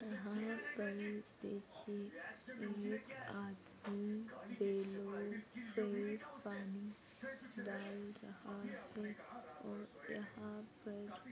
यहाँ पर देखिए एक आदमी बेलों पे पानी डाल रहा है और यहाँ पर--